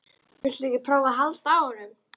Viltu ekki prófa að halda á honum?